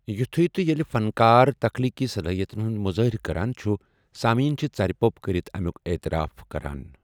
یٗتھٖیہ تہٕ ییٚلہِ فنکار تخلیٖقی صلٲحیتَن ہُنٛد مُظٲہرٕ کران چھُ ، سامعیٖن چھِ ژرِ پوٚپ کرتھ امِیوٗك اعتراف کران ۔